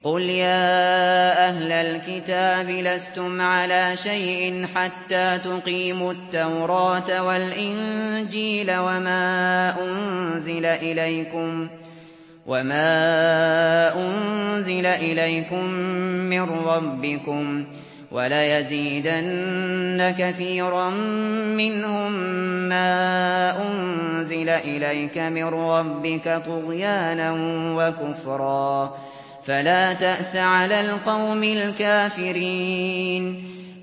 قُلْ يَا أَهْلَ الْكِتَابِ لَسْتُمْ عَلَىٰ شَيْءٍ حَتَّىٰ تُقِيمُوا التَّوْرَاةَ وَالْإِنجِيلَ وَمَا أُنزِلَ إِلَيْكُم مِّن رَّبِّكُمْ ۗ وَلَيَزِيدَنَّ كَثِيرًا مِّنْهُم مَّا أُنزِلَ إِلَيْكَ مِن رَّبِّكَ طُغْيَانًا وَكُفْرًا ۖ فَلَا تَأْسَ عَلَى الْقَوْمِ الْكَافِرِينَ